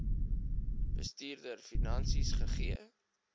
bestuurder finansies gegee